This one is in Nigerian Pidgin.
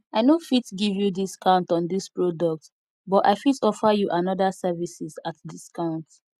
i no fit give you discount on dis product but i fit offer you anoda services at discount